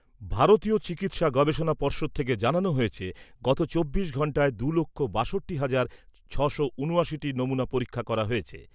ভারতীয় চিকিৎসা গবেষণা পর্ষদ থেকে জানানো হয়েছে , গত চব্বিশ ঘন্টায় দু'লক্ষ বাষট্টি হাজার ছশো ঊনআশি টি নমুনা পরীক্ষা করা হয়েছে।